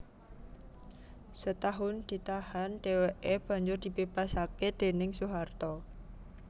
Setahun ditahan dhèwèké banjur dibebasaké déning Soeharto